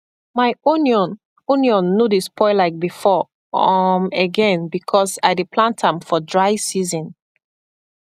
my onion onion no dey spoil like before um again because i dey plant am for dry season